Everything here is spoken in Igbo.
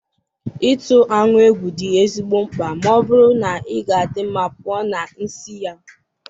ịtụ aṅụ egwu dị ezigbo mkpa ma ọ bụrụ na ị ga-adị mma pụọ na nsị ya.